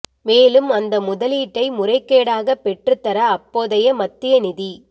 மேலும் அந்த முதலீட்டை முறைகேடாக பெற்று தர அப்போதைய மத்திய நிதி